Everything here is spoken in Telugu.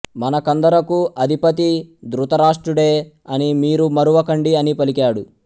మనకందరకూ అధిపతి ధృతరాష్ట్రుడే అని మీరు మరువకండి అని పలికాడు